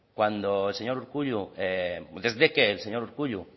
desde que el señor urkullu